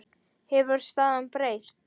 Hefur staðan breyst?